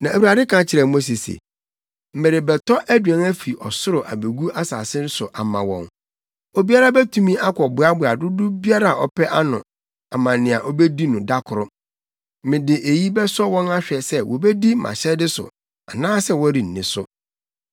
Na Awurade ka kyerɛɛ Mose se, “Merebɛtɔ aduan afi ɔsoro abegu asase so ama wɔn. Obiara betumi akɔboaboa dodow biara a ɔpɛ ano ama nea obedi no da koro. Mede eyi bɛsɔ wɔn ahwɛ sɛ wobedi mʼahyɛde so anaasɛ wɔrenni so.